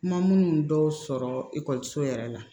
Ma minnu dɔw sɔrɔ ekɔliso yɛrɛ la